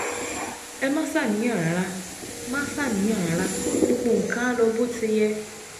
Ẹ má ṣàníyàn rárá, má ṣàníyàn rárá, gbogbo nǹkan á lọ bó ṣe yẹ